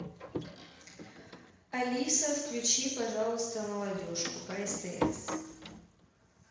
алиса включи пожалуйста молодежку по стс